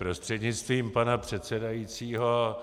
Prostřednictvím pana předsedajícího,